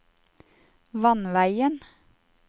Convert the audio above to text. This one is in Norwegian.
vannveien